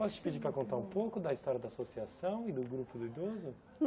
Posso te pedir para contar um pouco da história da associação e do grupo do idoso?